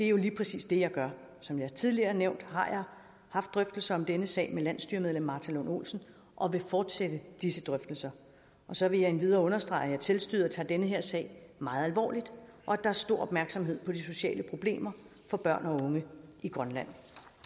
jo lige præcis det jeg gør som jeg tidligere har nævnt har jeg haft drøftelser om denne sag med landsstyremedlem martha lund olsen og vil fortsætte disse drøftelser så vil jeg endvidere understrege at selvstyret tager denne sag meget alvorligt og at der er stor opmærksomhed på de sociale problemer for børn og unge i grønland